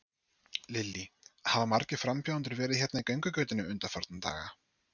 Lillý: Hafa margir frambjóðendur verið hérna í göngugötunni undanfarna daga?